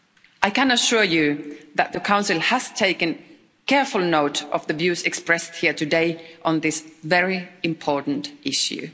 I can assure you that the Council has taken careful note of the views expressed here today on this very important issue.